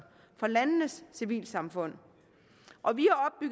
fra landenes civilsamfund